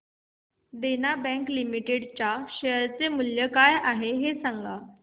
देना bank limited share चे मूल्य काय आहे हे सांगा